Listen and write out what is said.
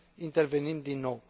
intervenim din nou.